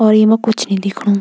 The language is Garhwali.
और येमा कुछ नी दिखणु।